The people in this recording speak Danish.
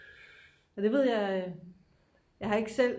men det ved jeg jeg har ikke selv